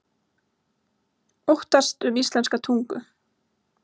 Óttast um íslenska tungu